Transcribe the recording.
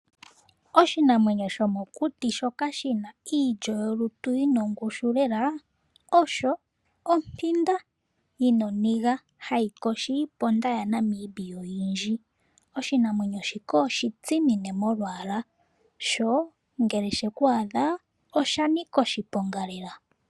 Oshinamwenyo shomokuti shoka shina iilyo yolutu yina ongushu lela osho ompinda yina oniga hayi yogo iiponda yaNamibia oyindji. Oshinamwenyo shika oshitsimine molwaala sho ngele sheku adha osha nika oshiponga lela.